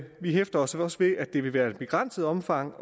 vi hæfter os også ved at det vil være i et begrænset omfang